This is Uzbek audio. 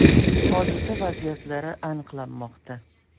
Hodisa vaziyatlari aniqlanmoqda.